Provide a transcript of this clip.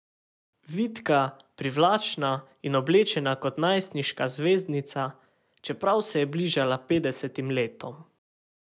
Vitka, privlačna in oblečena kot najstniška zvezdnica, čeprav se je bližala petdesetim letom.